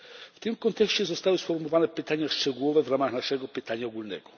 W tym kontekście zostały sformułowane pytania szczegółowe w ramach naszego pytania ogólnego.